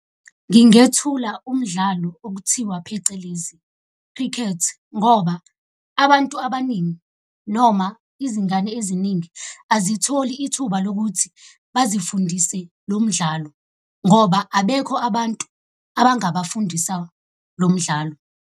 Ngingethula umdlalo okuthiwa phecelezi cricket ngoba abantu abaningi, noma izingane eziningi azitholi ithuba lokuthi bazifundise lo mdlalo ngoba abekho abantu abangabafundisa lo mdlalo.